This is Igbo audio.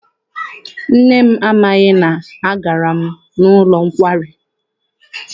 Nne m amaghị na agara m n'ụlọ nkwari.